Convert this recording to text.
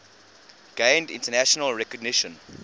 gained international recognition